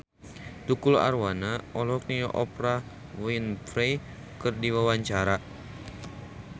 Tukul Arwana olohok ningali Oprah Winfrey keur diwawancara